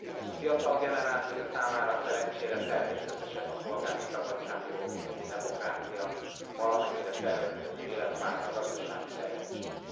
A fiatal generáció számára szerencsére természetesek a polgári szabadságjogok, a demokrácia, a valamennyire tervezhető életpálya, a gazdasági fejlettség.